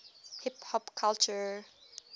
hip hop culture